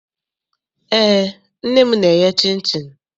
Eé, nne m na-eye chịnchịn.